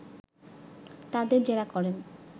তাদের জেরা করেন